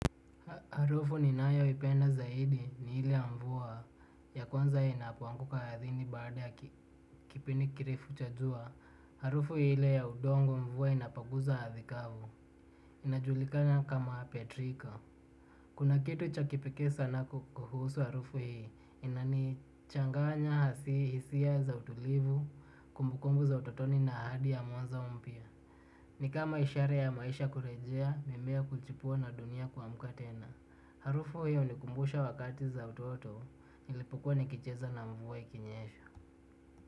Harufu ninayo ipenda zaidi ni ile ya mvua ya kwanza inapoanguka ardhini baada ya kipindi kirefu cha jua. Harufu ile ya udongo mvua inapoguza ardhi kavu. Inajulikana kama petrika. Kuna kitu cha kipekee sana kuhusu harufu hii inanichanganya hisia za utulivi kumbukumbu za utotoni na ahadi ya mwanzo mpya. Ni kama ishara ya maisha kurejea mimea kuchipua na dunia kuamka tena. Harufu hiyo hunikumbusha wakati za utoto. Nilipokuwa nikicheza na mvua ikinyesha.